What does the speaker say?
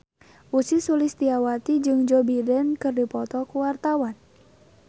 Ussy Sulistyawati jeung Joe Biden keur dipoto ku wartawan